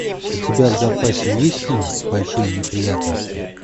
у тебя в запасе есть фильм большие неприятности